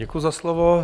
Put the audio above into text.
Děkuji za slovo.